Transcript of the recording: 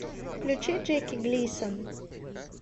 включи джеки глисон